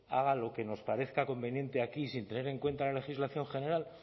haga lo que nos parezca conveniente aquí sin tener en cuenta la legislación general